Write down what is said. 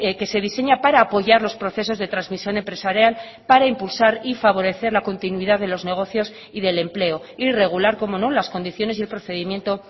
que se diseña para apoyar los procesos de transmisión empresarial para impulsar y favorecer la continuidad de los negocios y del empleo y regular cómo no las condiciones y el procedimiento